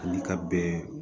Ani ka bɛn